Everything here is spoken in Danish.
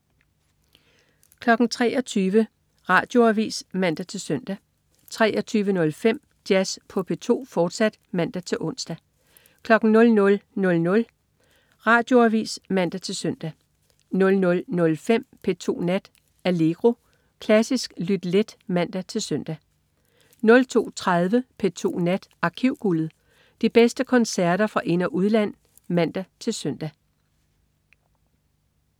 23.00 Radioavis (man-søn) 23.05 Jazz på P2, fortsat (man-ons) 00.00 Radioavis (man-søn) 00.05 P2 Nat. Allegro. Klassisk lyt let (man-søn) 02.30 P2 Nat. Arkivguldet. De bedste koncerter fra ind- og udland (man-søn)